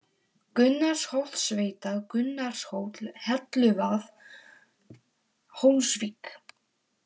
Gunnarsholtsveita, Gunnarshóll, Helluvað, Hólsvik